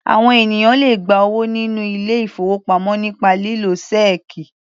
Àwọn ènìyàn le gba owó nínú ilé-ìfowópamọ́ nípa lílo ṣẹ́ẹ́kì.